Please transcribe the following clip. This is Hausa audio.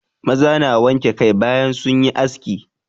Maza na wanke kai bayan sun yi aski.